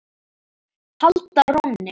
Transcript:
halda rónni.